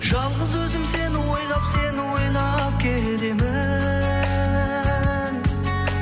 жалғыз өзім сені ойлап сені ойлап келемін